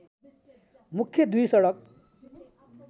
मुख्य दुई सडक